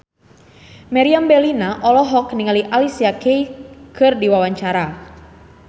Meriam Bellina olohok ningali Alicia Keys keur diwawancara